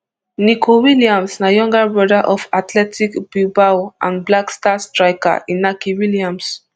nico williams na younger brother of athletic bilbao and black stars striker inaki williams